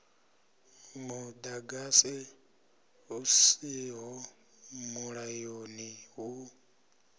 muḓagasi hu siho mulayoni hu